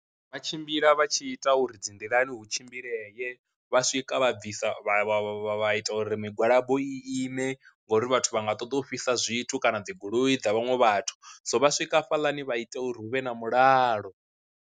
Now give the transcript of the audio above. Vha tshimbila vha tshi ita uri dzi nḓilani hu tshimbilele, vha swika vha bvisa vha vha vha vha ita uri migwalabo i ine ngori vhathu vha nga ṱoḓa u fhisa zwithu kana dzi goloi dza vhaṅwe vhathu, so vha swika hafhaḽani vha ite uri hu vhe na mulalo.